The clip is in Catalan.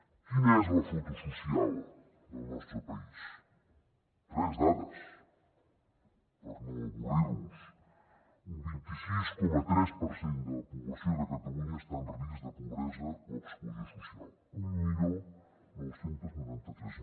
quina és la foto social del nostre país tres dades per no avorrir los un vint sis coma tres per cent de la població de catalunya està en risc de pobresa o exclusió social dinou noranta tres